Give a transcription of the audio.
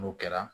N'o kɛra